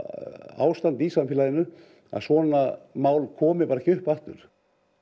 ástand í samfélaginu að svona mál komi bara ekki upp aftur